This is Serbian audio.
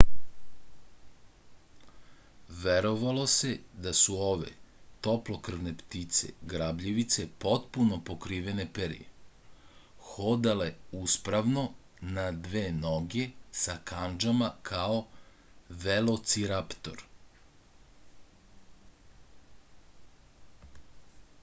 verovalo se da su ove toplokrvne ptice grabljivice potpuno pokrivene perjem hodale uspravno na dve noge sa kandžama kao velociraptor